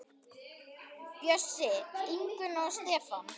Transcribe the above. Bjössi, Ingunn og Stefán.